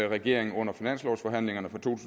regeringen under finanslovsforhandlingerne for to